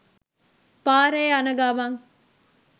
පාරේ යන ගමන්